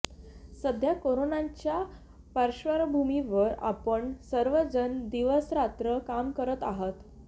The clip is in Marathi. सध्या कोरोनाच्या पार्श्वभूमीवर आपण सर्वजण दिवसरात्र काम करत आहात